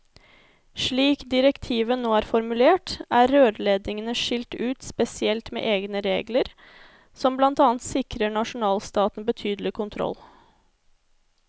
Slik direktivet nå er formulert, er rørledningene skilt ut spesielt med egne regler, som blant annet sikrer nasjonalstaten betydelig kontroll.